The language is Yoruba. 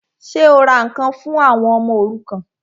Ṣé o ra ǹkan fún àwọn ọmọ òrukàn?